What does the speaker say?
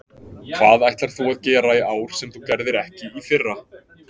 Hvað ætlar þú að gera í ár sem þú gerðir ekki í fyrra?